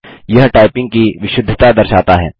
यह टाइपिंग की विशुद्धता दर्शाता है